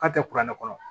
K'a tɛ kuranɛ kɔrɔ